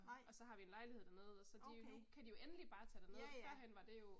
Nej. Okay. Ja ja